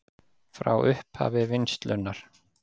Frá upphafi vinnslunnar